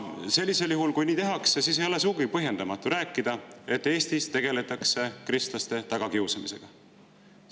Sellisel juhul, kui nii tehakse, ei ole sugugi põhjendamatu rääkida, et Eestis tegeletakse kristlaste tagakiusamisega.